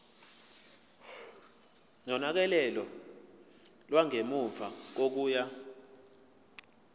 nonakekelo lwangemuva kokuya